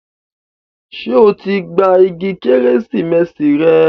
Ṣé o ti gba igi Kérésìmesì rẹ?